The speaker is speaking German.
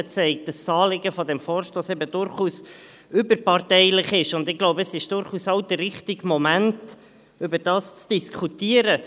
Es zeigt, dass das Anliegen des Vorstosses durchaus überparteilich ist, und es ist durchaus auch der richtige Moment, darüber zu diskutieren.